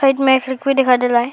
एक में दिखाई दे रहा है।